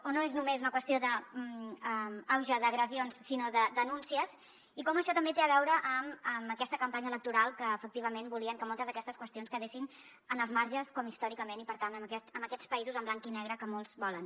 o no és només una qüestió d’auge d’agressions sinó de denúncies i com això també té a veure amb aquesta campanya electoral en què efectivament volien que moltes d’aquestes qüestions quedessin en els marges com històricament i per tant en aquests països en blanc i negre que molts volen